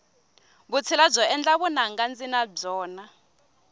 vutshila byo endla vunanga ndzi na byona